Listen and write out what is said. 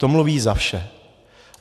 To mluví za vše.